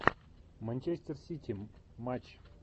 манчестер сити матч